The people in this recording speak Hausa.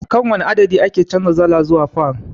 Akan wane adadi ake canjar dala zuwa fan?